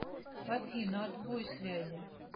афина отбой связи